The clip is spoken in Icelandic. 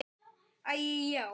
Æi, já.